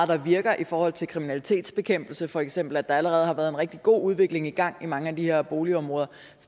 der virker i forhold til kriminalitetsbekæmpelse for eksempel har der allerede været en rigtig god udvikling i gang i mange af de her boligområder